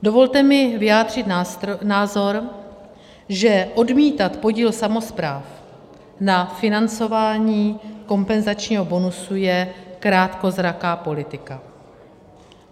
Dovolte mi vyjádřit názor, že odmítat podíl samospráv na financování kompenzačního bonusu je krátkozraká politika.